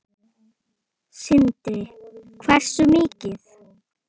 Sindri: Hversu mikið?